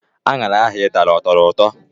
Aṅara ahụ Ị tara ọ tọrọ ụtọ?